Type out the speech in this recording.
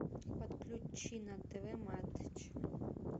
подключи на тв матч